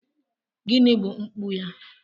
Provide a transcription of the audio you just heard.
Gịnị bụ mpụ ya?